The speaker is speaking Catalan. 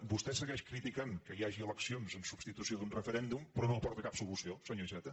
vostè segueix criticant que hi hagi eleccions en substitució d’un referèndum però no aporta cap solució senyor iceta